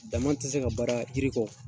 Dama ti se ka baara jiri kɔ.